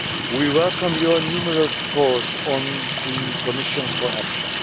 We welcome your numerous calls on the Commission for action.